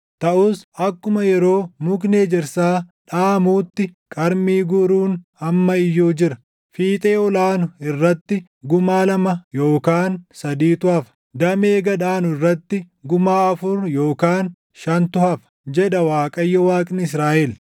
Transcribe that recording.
Taʼus akkuma yeroo mukni ejersaa dhaʼamuutti, qarmii guuruun amma iyyuu jira; fiixee ol aanu irratti gumaa lama yookaan sadiitu hafa; damee gad aanu irratti gumaa afur yookaan shantu hafa” jedha Waaqayyo, Waaqni Israaʼel.